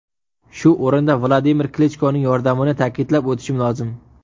Shu o‘rinda Vladimir Klichkoning yordamini ta’kidlab o‘tishim lozim.